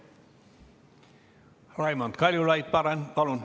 Raimond Kaljulaid, palun!